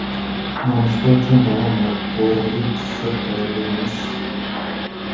Nonushta uchun banan va tvorogli desert tayyorlaymiz.